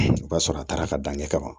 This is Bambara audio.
O b'a sɔrɔ a taara ka dan ɲɛ kama